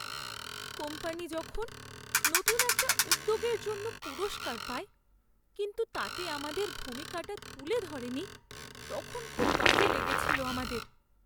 Company যখন নতুন একটা উদ্যোগের জন্য পুরস্কার পায়, কিন্তু তাতে আমাদের ভূমিকাটা তুলে ধরেনি, তখন খুব বাজে লেগেছিল আমাদের।